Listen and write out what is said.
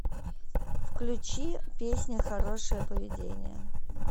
включи песня хорошее поведение